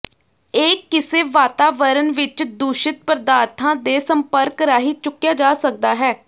ਇਹ ਕਿਸੇ ਵਾਤਾਵਰਣ ਵਿੱਚ ਦੂਸ਼ਿਤ ਪਦਾਰਥਾਂ ਦੇ ਸੰਪਰਕ ਰਾਹੀਂ ਚੁੱਕਿਆ ਜਾ ਸਕਦਾ ਹੈ